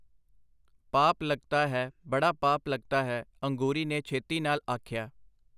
ਪਾਪ ਲਗਤਾ ਹੈ, ਬੜਾ ਪਾਪ ਲਗਤਾ ਹੈ”, ਅੰਗੂਰੀ ਨੇ ਛੇਤੀ ਨਾਲ ਆਖਿਆ.